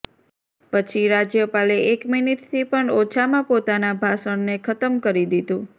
પછી રાજ્યપાલે એક મિનિટથી પણ ઓછામાં પોતાના ભાષણને ખત્મ કરી દીધું